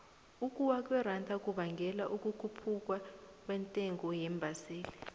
ukuwa kweranda kubangela ukukhuphuka kwentengo yeembaseli